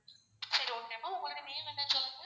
சரி okay மா உங்களுடைய name என்ன சொல்லுங்க?